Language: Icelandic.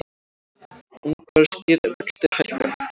Ungverskir vextir hækka